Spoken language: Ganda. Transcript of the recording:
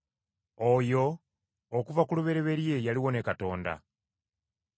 Oyo, okuva ku lubereberye yaliwo ne Katonda.